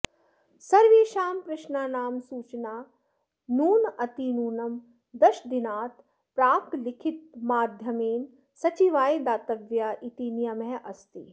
सर्वेषां प्रश्नानां सूचना नूनातिनूनं दशदिनात् प्राक् लिखितमाध्यमेन सचिवाय दातव्या इति नियमः अस्ति